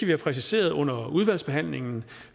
have præciseret under udvalgsbehandlingen